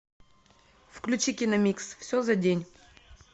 включи киномикс все за день